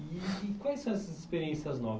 E e quais são essas experiências